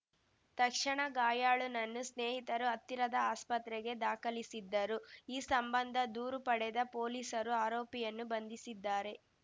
ತಕ್ಷಣ ಗಾಯಾಳುನನ್ನು ಸ್ನೇಹಿತರು ಹತ್ತಿರದ ಆಸ್ಪತ್ರೆಗೆ ದಾಖಲಿಸಿದ್ದರು ಈ ಸಂಬಂಧ ದೂರು ಪಡೆದ ಪೊಲೀಸರು ಆರೋಪಿಯನ್ನು ಬಂಧಿಸಿದ್ದಾರೆ